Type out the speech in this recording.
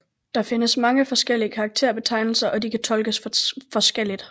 Der findes mange forskellige karakterbetegnelser og de kan tolkes forskelligt